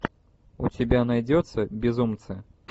у тебя найдется безумцы